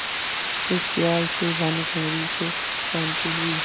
इस खयाल से भानुकुँवरि को कुछ शान्ति हुई